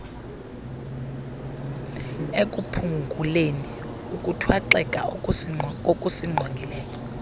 ekuphunguleni ukuthwaxeka kokusinqongileyo